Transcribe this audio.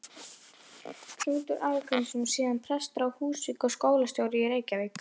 Knútur Arngrímsson, síðar prestur á Húsavík og skólastjóri í Reykjavík.